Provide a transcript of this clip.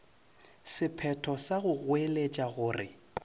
sephetho sa go goeletša gore